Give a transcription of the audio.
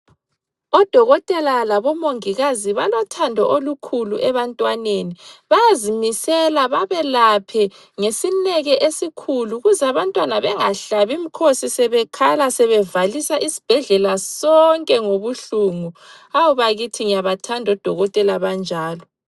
Odokotela labo mongikazi balothando olukhulu ebantwaneni bayazimisela babelaphe ngesineke esikhulu ukuze abantwana bengahlabi umkhosi sebekhala sebevalisa isibhedlela sonke ngobuhlungu hawu bakithi ngiyabathanda odokotela abanjalo.